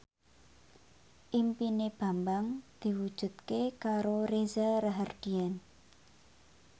impine Bambang diwujudke karo Reza Rahardian